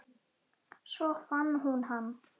Svo fann hún hann.